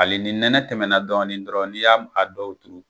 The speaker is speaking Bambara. Ali ni nɛnɛ tɛmɛna dɔɔni dɔrɔn ni y'a a dɔw turu